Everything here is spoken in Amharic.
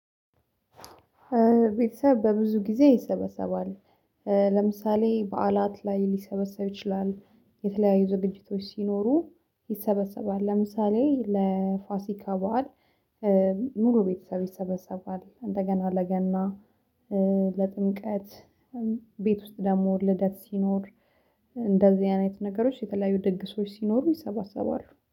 ቤተሰብ በብዙ ጊዜ ይሰበሰባል። ለምሳሌ በዓላት ላይ ሊሰበሰብ ይችላል የተለያዩ ዝግጅቶች ሲኖሩ ይሰበሰባል። ለምሳሌ ለፋሲካ በዓል። ሙሉ ቤተሰብ ይሰበሰባል። እንደገና ለገና ለጥምቀት ቤት ውስጥ ደግሞ ልደት ሲኖር። እንደዚህ አይነት ነገሮች የተለያዩ ድግሶች ሲኖሩ ይሰባሰባሉ